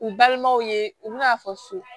U balimaw ye u bɛna fɔ so